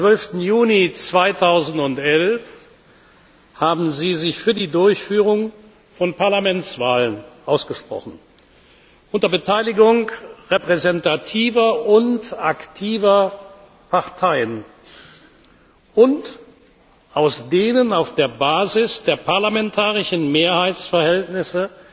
12. Juni 2011 haben Sie sich für die Durchführung von Parlamentswahlen ausgesprochen, unter Beteiligung repräsentativer und aktiver Parteien, aus denen auf der Basis der parlamentarischen Mehrheitsverhältnisse